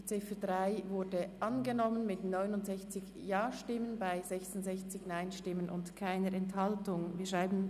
Die Ziffer 3 ist mit 69 Ja- zu 66 Nein-Stimmen bei keiner Enthaltung überwiesen worden.